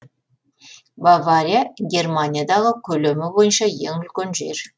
бавария германиядағы көлемі бойынша ең үлкен жер